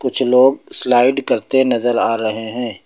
कुछ लोग स्लाइड करते नजर आ रहे है।